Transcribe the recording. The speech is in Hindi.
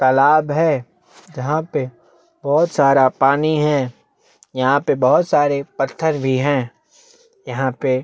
तालाब है जहाँ पे बहोत सारा पानी है यहाँ पे बहोत सारे पत्थर भी है यहाँ पे--